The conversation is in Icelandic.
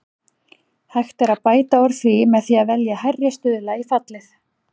Hægt er að bæta úr því með því að velja hærri stuðla í fallið.